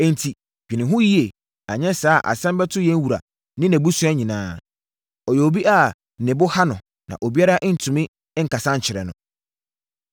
Enti, dwene ho yie, anyɛ saa a asɛm bɛto yɛn wura ne nʼabusua nyinaa. Ɔyɛ obi a ne bo ha no na obiara ntumi nkasa nkyerɛ no.”